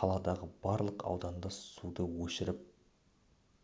қаладағы барлық ауданда суды өшіріп